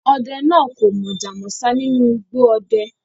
Ode naa ko Mojá mósá ninu igbo ode